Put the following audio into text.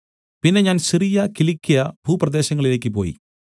പിന്നെ ഞാൻ സിറിയ കിലിക്യ ഭൂപ്രദേശങ്ങളിലേക്കു പോയി